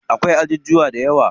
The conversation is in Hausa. Akwai ajujuwa dayawa.